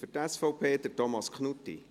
Für die SVP, Thomas Knutti.